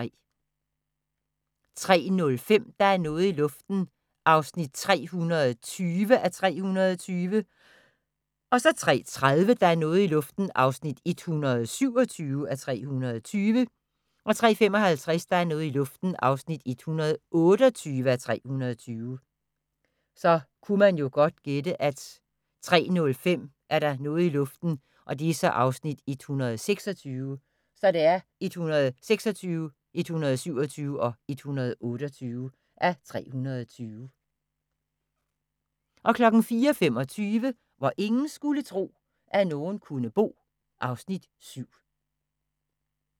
03:05: Der er noget i luften (320:320) 03:30: Der er noget i luften (127:320) 03:55: Der er noget i luften (128:320) 04:25: Hvor ingen skulle tro, at nogen kunne bo (Afs. 7)